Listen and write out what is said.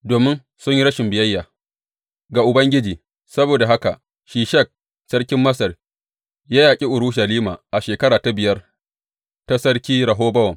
Domin sun yi rashin biyayya ga Ubangiji, saboda haka Shishak sarkin Masar ya yaƙi Urushalima a shekara ta biyar ta Sarki Rehobowam.